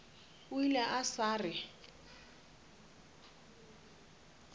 o ile a sa re